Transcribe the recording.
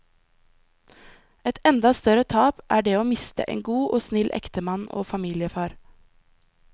Et enda større tap er det å miste en god og snill ektemann og familiefar.